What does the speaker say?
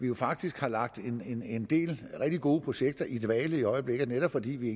jo faktisk lagt en en del rigtig gode projekter i dvale i øjeblikket fordi vi